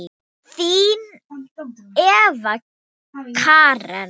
Þín Eva Karen.